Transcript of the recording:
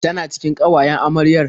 Tana cikin ƙawayen amaryar?